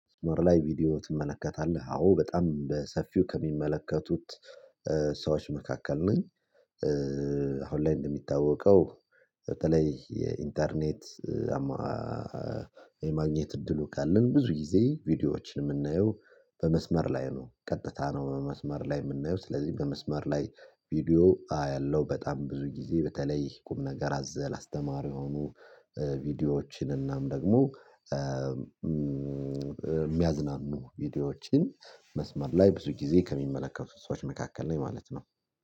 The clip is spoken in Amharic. መስመር ላይ ቪዲዮ ትመለከታለህ አዎ በጣም በሰፊው ከሚመለከቱት ሰዎች መካከል ነኝ። ላይ እንደሚታወቀው በተለይ የኢንተርኔት የማግኘት እድሉ ካለን ብዙ ጊዜ ቪዲዮዎችን የምናየው በመስመር ላይ ነው። ቀጥታ ነው መስመር ላይ የምናየው ስለዚህ በመስመር ላይ ቪዲዮ ያለው በጣም ብዙ ጊዜ በተለይ ቁም ነገር አዘል አስተማሪ የሆኑ። ቪዲዮዎችን እናም ደግሞ የሚያዝናኑ ቪዲዮዎችን መስመር ላይ ብዙ ጊዜ ከሚመለከቱት ሰዎች መካከል ነኝ ማለት ነው።